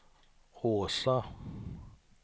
Åsa